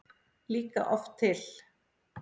líka oft til.